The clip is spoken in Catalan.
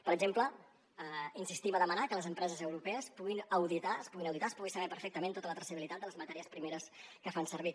per exemple insistim a demanar que les empreses europees puguin auditar es puguin auditar es pugui saber perfectament tota la traçabilitat de les matèries primeres que fan servir